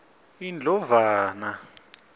indlovana